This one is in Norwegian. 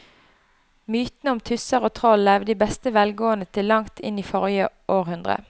Mytene om tusser og troll levde i beste velgående til langt inn i forrige århundre.